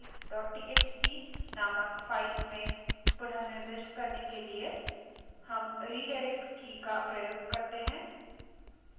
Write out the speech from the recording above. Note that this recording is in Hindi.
output को concatefile txt नामक file में पुनः निर्दिष्ट करने के लिए हम redirect redirect की का प्रयोग कर सकते हैं